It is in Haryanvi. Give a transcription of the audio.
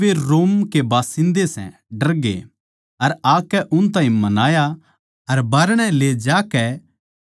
अर आकै उन ताहीं मनाया अर बाहरणै ले जाकै बिनती करी के नगर चले जाओ